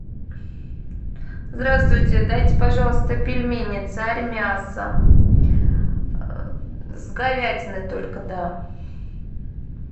здравствуйте дайте пожалуйста пельмени царь мясо с говядиной только да